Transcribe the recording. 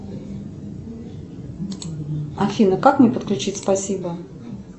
афина как мне подключить спасибо